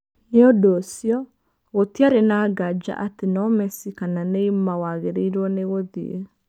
Nĩ ũndũ ũcio, gũtiarĩ na nganja ati no Messi kana Neymar wagĩrĩirwo nĩ gũthiĩ.